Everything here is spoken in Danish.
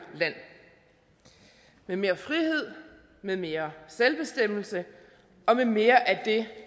land med mere frihed med mere selvbestemmelse og med mere af det